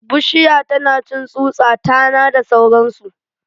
Bushiya tanacin tsutsa, tana da sauransu